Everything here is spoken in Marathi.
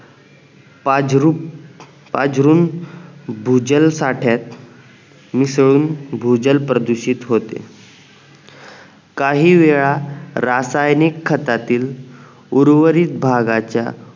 पाजरूप पाजरुन भूजल साठ्यात मिसळून भूजल प्रदूषित होते काही वेळा रासायनिक खतातील उर्वरित भागाच्या पाजरूप पाजरुन भूजल साठ्यात मिसळून भूजल प्रदूषित होते